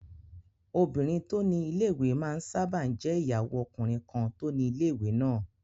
Obìnrin tó ni ilé-ìwé máa n sáábà jẹ́ ìyàwó ọkùnrin kan tó ni ilé-ìwé náà